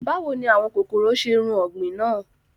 Bàwo ni àwọn kokoro ṣe run ọgbin naa?